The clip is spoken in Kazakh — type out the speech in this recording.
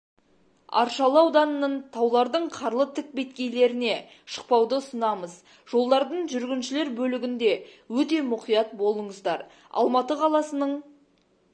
аршалы ауданының таулардың қарлы тік беткейлеріне шықпауды ұсынамыз жолдардың жүргіншілер бөлігінде өте мұқият болыңыздар алматы қаласының